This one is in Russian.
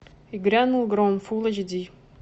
и грянул гром фулл эйч ди